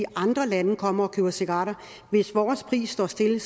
andre lande kommer til og køber cigaretter hvis vores pris står stille